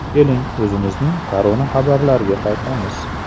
Keling, o‘zimizning koronaxabarlarga qaytamiz.